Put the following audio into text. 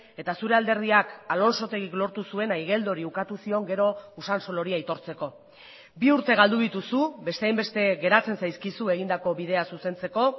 eta zure alderdiak alonsotegik lortu zuena igeldori ukatu zion gero usansolori aitortzeko bi urte galdu dituzu beste hainbeste geratzen zaizkizu egindako bidea zuzentzeko